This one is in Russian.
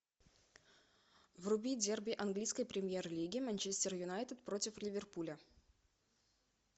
вруби дерби английской премьер лиги манчестер юнайтед против ливерпуля